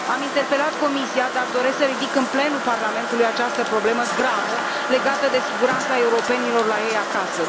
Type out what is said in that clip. Am interpelat Comisia, dar doresc să ridic în plenul Parlamentului această problemă gravă legată de siguranța europenilor la ei acasă.